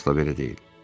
Əsla belə deyil.